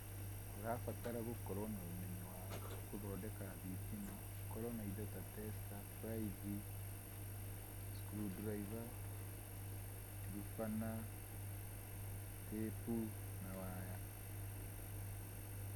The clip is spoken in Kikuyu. Ũrabatara gũkorwo na ũmenyo wa gũthondeka thitima, ukorwo na indo ta tester, buraithi, screwdriver, thubana, tĩpu na waya.